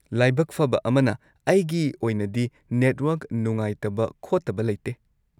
ꯂꯥꯏꯕꯛ ꯐꯕ ꯑꯃꯅ, ꯑꯩꯒꯤ ꯑꯣꯏꯅꯗꯤ ꯅꯦꯠꯋꯔꯛ ꯅꯨꯡꯉꯥꯏꯇꯕ ꯈꯣꯠꯇꯕ ꯂꯩꯇꯦ꯫